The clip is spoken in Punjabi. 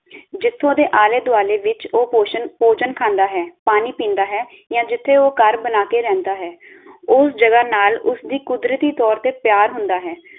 ਜਿਥੋਂ ਦੇ ਆਲੇ -ਦੁਆਲੇ ਵਿਚ ਉਹ ਪੋਸ਼ਣ ਭੋਜਨ ਖਾਂਦਾ ਹੈ, ਪਾਣੀ ਪੀਂਦਾ ਹੈ, ਯਾ ਜਿਥੇ ਉਹ ਘਰ ਬਣਾ ਕੇ ਰਹਿੰਦਾ ਹੈ ਉਸ ਜਗਾਹ ਨਾਲ ਉਸਦੀ ਕੁਦਰਤੀ ਤੌਰ ਤੇ ਪਿਆਰ ਹੁੰਦਾ ਹੈ